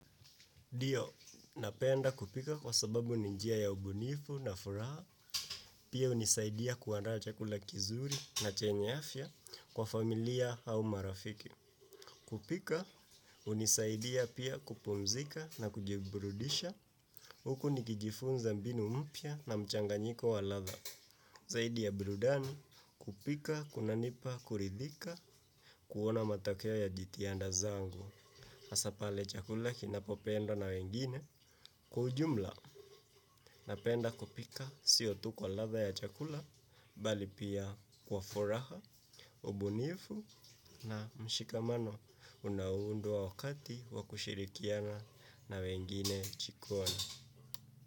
NDio, napenda kupika kwa sababu ni njia ya ubunifu na furaha, pia hunisaidia kuandaa chakula kizuri na chenye afya kwa familia au marafiki. Kupika, hunisaidia pia kupumzika na kujiburudisha, huku nikijifunza mbinu mpya na mchanganyiko wa ladha. Zaidi ya burudani, kupika, kunanipa, kuridhika, kuona matokeo ya jitihada zangu. hAsa pale chakula kinapopenda na wengine kwa ujumla napenda kupika sio tu kwa ladha ya chakula bali pia kwa furaha, ubunifu na mshikamano unaundwa wakati wa kushirikiana na wengine jikoni.